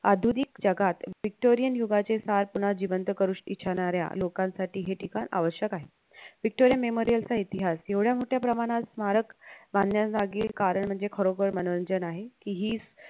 आधुनिक जगात victorian युगाचे सार पुन्हा जिवंत करू इच्छिणाऱ्या लोकांसाठी हे ठिकाण अवध्यक आहे व्हिक्टोरिया memorial चा इतिहास एवढ्या मोठ्या प्रमाणात स्मारक बांधण्याजागी कारण म्हणजे खरोखर मनोरंजन आहे कि हीं